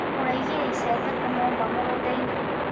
Mũraigire icembe kũ mwauma mũgũndainĩ.